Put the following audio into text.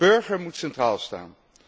De burger moet centraal staan.